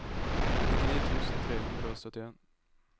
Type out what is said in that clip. nittini tusen tre hundre og syttien